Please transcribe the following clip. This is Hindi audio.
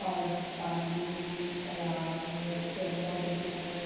और पानी है तालाब है पेड़ पौधे दिखाई दे --